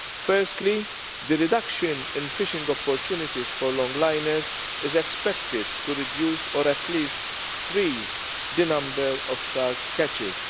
Firstly, the reduction in fishing opportunities for longliners is expected to reduce or at least freeze' the number of shark catches.